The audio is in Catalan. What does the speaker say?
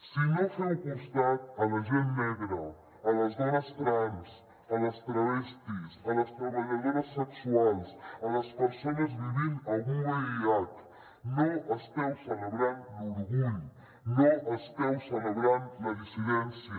si no feu costat a la gent negra a les dones trans a les travestís a les treballadores sexuals a les persones vivint amb vih no esteu celebrant l’orgull no esteu celebrant la dissidència